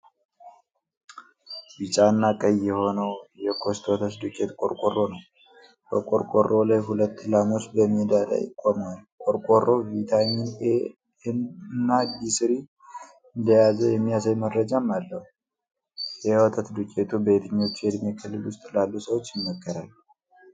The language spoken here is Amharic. ቢጫና ቀይ የሆነው የኮስት ወተት ዱቄት ቆርቆሮ ነው። በቆርቆሮው ላይ ሁለት ላሞች በሜዳ ላይ ቆመዋል። ቆርቆሮው ቪታሚን ኤ እና ዲ3 እንደያዘ የሚያሳይ መረጃም አለው። የወተት ዱቄቱ በየትኞቹ የእድሜ ክልል ውስጥ ላሉ ሰዎች ይመከራል?